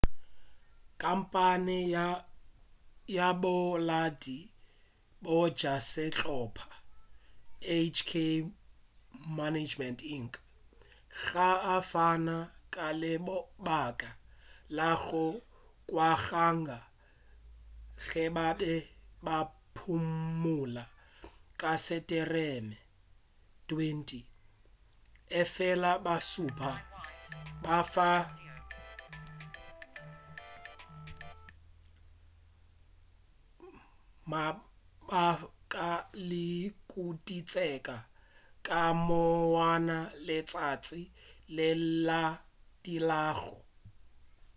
khamphane ya bolaodi bja sehlopa hk management inc ga a fana ka lebaka la go kwagala ge ba be ba phumula ka setemere 20 efela ba šupa mabaka a ditukišetšo ka monwana letšatši le le latelago